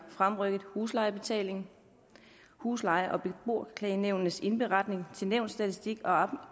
fremrykket huslejebetaling husleje og beboerklagenævnenes indberetning til nævnsstatistik